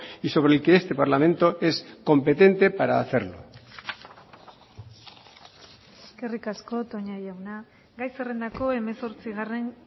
y sobre el que este parlamento es competente para hacerlo eskerrik asko toña jauna gai zerrendako hemezortzigarren